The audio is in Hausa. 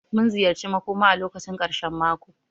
Mun ziyarci makõma a lokacin karshen mako.